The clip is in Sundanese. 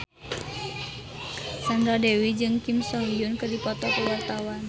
Sandra Dewi jeung Kim So Hyun keur dipoto ku wartawan